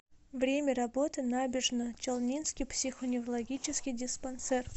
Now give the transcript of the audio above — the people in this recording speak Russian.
время работы набережночелнинский психоневрологический диспансер